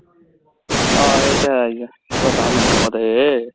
ਹਾਂ ਇਹ ਤਾਂ ਹੈ ਹੀ ਹੈ ਪਤਾ ਮੈਨੂੰ ਓਦੇ